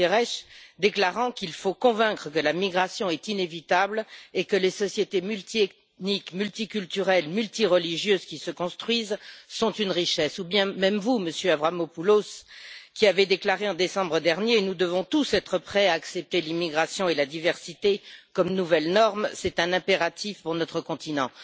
Guterres, déclarant qu'il faut convaincre que la migration est inévitable et que les sociétés multi ethniques, multiculturelles et multi religieuses qui se construisent sont une richesse, ou bien vous, Monsieur Avramopoulos, qui avez déclaré en décembre dernier nous devons tous être prêts à accepter l'immigration et la diversité comme nouvelle norme, c'est un impératif pour notre continent.